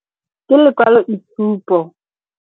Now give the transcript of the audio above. Ke lekwaloitshupo.